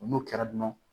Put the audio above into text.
N'o kɛra dɔrɔn